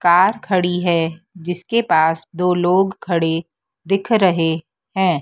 Car खड़ी हैं जिसके पास दो लोग खड़े दिख रहे हैं।